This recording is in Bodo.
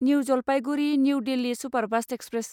new Jalpaiguri new Delhi superfast express